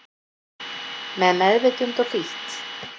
Með meðvitund og hlýtt